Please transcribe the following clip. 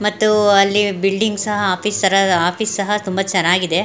ಮತ್ತು ಅಲ್ಲಿ ಬಿಲ್ಡಿಂಗ್ ಸಹ ಆಫೀಸ್ ಸರ ಆಫೀಸ್ ಸಹ ತುಂಬಾ ಚನ್ನಾಗಿದೆ .